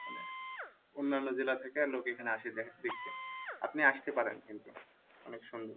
অন্যান্য জেলা থেকে লোক এখানে আসে দেখতে আপনি আসতে পারেন কিন্তু অনেক সুন্দর